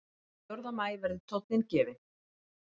Þann fjórða maí verður tóninn gefinn